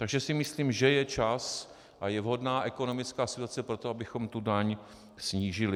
Takže si myslím, že je čas a je vhodná ekonomická situace pro to, abychom tu daň snížili.